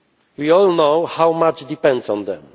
We all know how much depends on